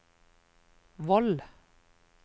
Voll